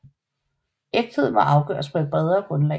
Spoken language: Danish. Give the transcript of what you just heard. Ægthed må afgøres på et bredere grundlag